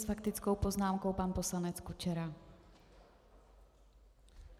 S faktickou poznámkou pan poslanec Kučera.